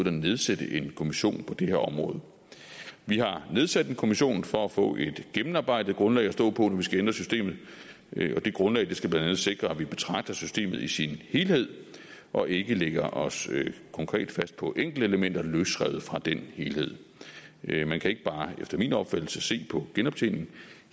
at nedsætte en kommission på det her område vi har nedsat en kommission for at få et gennemarbejdet grundlag at stå på når vi skal ændre systemet og det grundlag skal blandt andet sikre at vi betragter systemet i sin helhed og ikke lægger os konkret fast på enkeltelementer løsrevet fra den helhed man kan efter min opfattelse se på genoptjening